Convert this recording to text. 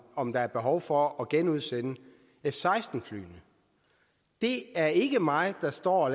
om der er behov for at genudsende f seksten flyene det er ikke mig der står og